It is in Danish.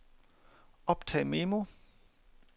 optag memo